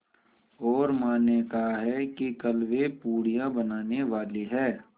और माँ ने कहा है कि कल वे पूड़ियाँ बनाने वाली हैं